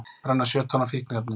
Brenna sjö tonn af fíkniefnum